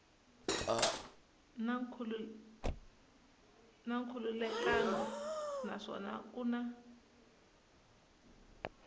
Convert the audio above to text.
na nkhulukelano naswona ku na